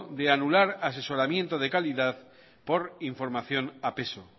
de anular asesoramiento de calidad por información a peso